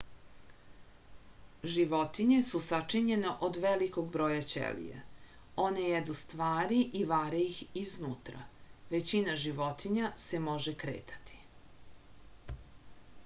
životinje su sačinjene od velikog broja ćelija one jedu stvari i vare ih iznutra većina životinja se može kretati